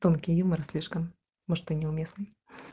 тонкий юмор слишком может и неуместный